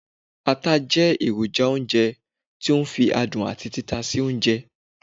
ata je eroja ounjẹ to o fi adun ati tita sí ounjẹ